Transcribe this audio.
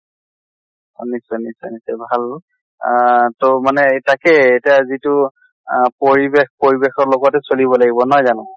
নিশ্চয় নিশ্চয় নিশ্চয় ভাল আহ তʼ মানে তাকে এতিয়া যিটো আহ পৰিবেশ পৰিবেশৰ লগতে চলিব লাগিব নহয় জানো?